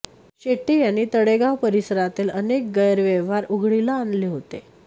शेट्टी यांनी तळेगाव परिसरातले अनेक गैरव्यवहार उघडकीला आणले होते